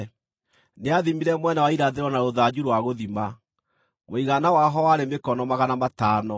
Nĩathimire mwena wa irathĩro na rũthanju rwa gũthima; mũigana waho warĩ mĩkono magana matano.